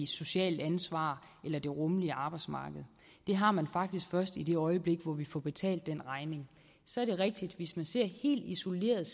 socialt ansvar eller det rummelige arbejdsmarked det har man faktisk først i det øjeblik vi får betalt den regning så er det rigtigt at hvis man ser helt isoleret